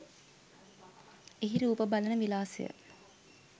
එහි රූප බලන විලාසය